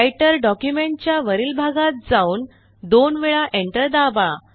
writer document च्या वरील भागात जाऊन दोन वेळा Enter दाबा